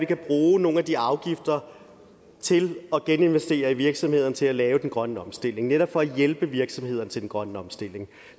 kan bruge nogle af de afgifter til at geninvestere i virksomhederne til at lave den grønne omstilling netop for at hjælpe virksomhederne til den grønne omstilling